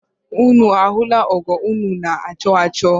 Ụnụ ahụla ọgo ụnụ na- achọ achọ?